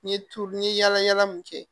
N ye tulu n ye yaala yaala mun kɛ